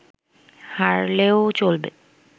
হারলেও চলবে